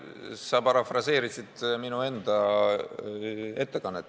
Sa parafraseerisid minu enda ettekannet.